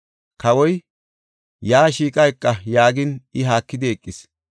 Kawoy, “Yaa shiiqa eqa” yaagin I haakidi eqis.